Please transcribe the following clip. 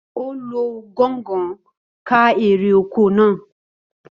Ó lo gọ̀ǹgọ̀ ká èrè oko naa